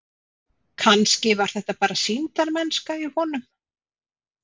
Kannski var þetta bara sýndarmennska í honum.